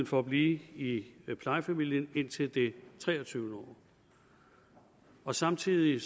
for at blive i i plejefamilien indtil det treogtyvende år og samtidig